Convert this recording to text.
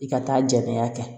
I ka taa jɛni a kɛ